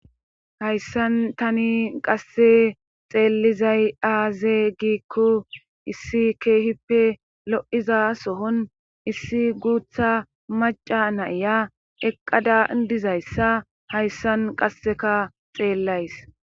Hayssan tani qasse xeellizay aaze giikko issi keehippe lo'iza sohon issi guutha maca nayya eqqada dizayssa hayssan qasseka xeellays.